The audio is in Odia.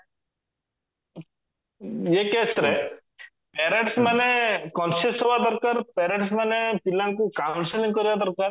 parents ମାନେ conscious ରହିବା ଦରକାର parents ମାନେ ପିଲାଙ୍କୁ counselling କରିବା ଦରକାର